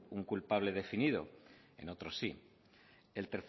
un culpable definido en otros sí y